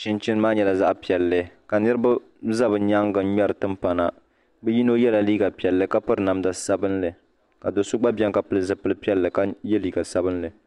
chinchin maa nyɛla zaɣ piɛlli ka niraba ʒɛ bi nyaangu ŋmɛri timpana bi yino yɛla liiga piɛlli ka piri namda sabinli ka do so gba biɛni ka pili zipili piɛlli ka yɛ liiga sabinli